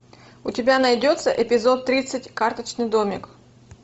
у тебя найдется эпизод тридцать карточный домик